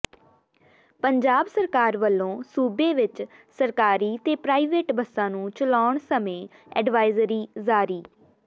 ਪੰਜਾਬ ਸਰਕਾਰ ਵੱਲੋਂ ਸੂਬੇ ਵਿਚ ਸਰਕਾਰੀ ਤੇ ਪ੍ਰਾਈਵੇਟ ਬੱਸਾਂ ਨੂੰ ਚਲਾਉਣ ਸਮੇਂ ਐਡਵਾਇਜ਼ਰੀ ਜਾਰੀ